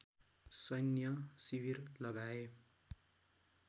सैन्य शिविर लगाए